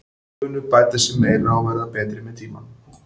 Þeir munu bæta sig meira og verða betri með tímanum.